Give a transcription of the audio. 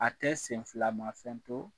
A tɛ senfila ma fɛn to